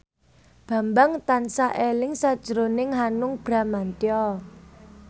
Bambang tansah eling sakjroning Hanung Bramantyo